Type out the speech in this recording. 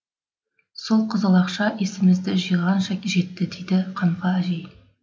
сол қызыл ақша есімізді жиғанша жетті дейді қамқа әжей